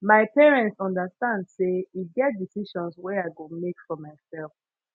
my parents understand sey e get decisions wey i go make for mysef